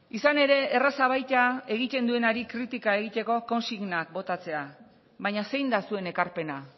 izan ere erraza baita egiten duenari kritika egiteko konsignak botatzen baina zein da zuen ekarpena